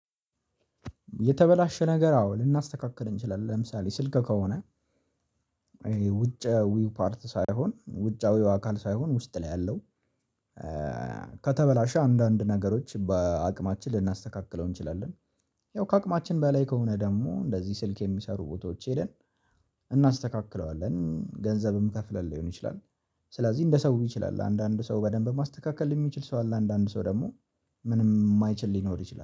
የተበላሸ ነገር አዎ ልናስተካክል እንችላለን ለምሳሌ ስልክ ከሆነ ውጭውይ ፓርት ሳይሆን ውጫዊው አካል ሳይሆን ውስጥ ላይ ያለው ከተበላሸ አንዳንድ ነገሮች በአቅማችን ልናስተካክለው እንችላለን። ያው ከአቅማችን በላይ ከሆነ ደግሞ እንደዚህ ስልክ የሚሰሩ ቦታዎች ሄደን እናስተካክለዋለን ገንዘብ የምከፍልልን ሊሆን ይችላል። ስለዚህ እንደ ሰው ይችላል አንዳንድ ሰው በደንብ ማስተካከል የሚችል ሰው አለ። አንዳንድ ሰው ደግሞ ምንም የማይችል ሊኖር ይችላል